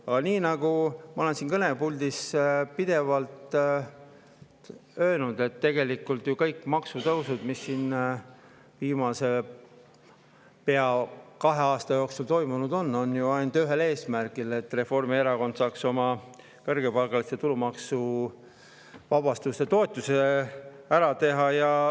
Aga nagu ma olen siin kõnepuldis pidevalt öelnud, tegelikult on ju kõik maksutõusud, mis on viimase pea kahe aasta jooksul toimunud, ainult ühel eesmärgil: et Reformierakond saaks oma kõrgepalgaliste tulumaksu, toetuse ära teha.